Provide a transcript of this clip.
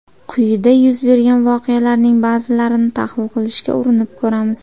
Quyida yuz bergan voqealarning ba’zilarini tahlil qilishga urinib ko‘ramiz.